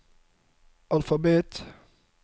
alfabet